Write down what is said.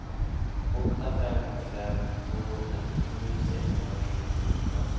åtta fem fem två trettiosju sexhundrasjuttioåtta